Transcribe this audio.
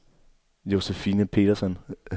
Josefine Petersson